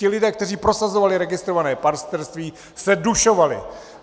Ti lidé, kteří prosazovali registrované partnerství, se dušovali.